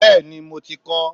Bẹẹni, mo ti kọ́ ọ